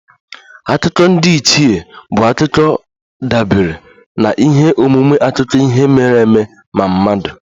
Akụkọ ndiichie bụ akụkọ dabere na ihe omume akụkọ ihe mere eme ma mmadụ